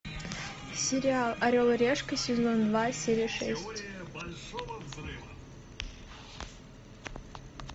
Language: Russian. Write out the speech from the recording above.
сериал орел и решка сезон два серия шесть